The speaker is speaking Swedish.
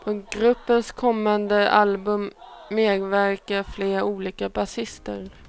På gruppens kommande album medverkar flera olika basister.